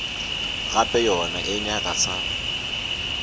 gape yona e nyaka sa